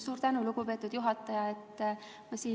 Suur tänu, lugupeetud juhataja!